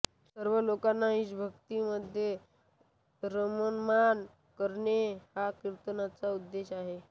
सर्व लोकांना ईशभक्तीमध्ये रममाण करणे हा कीर्तनाचा उद्देश आहे